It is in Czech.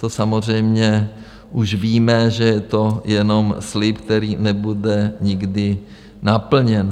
To samozřejmě už víme, že je to jenom slib, který nebude nikdy naplněn.